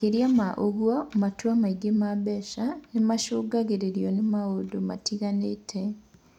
Makĩria ma ũguo, matua megiĩ mbeca nĩ matongoragio nĩ maũndũ matiganĩte.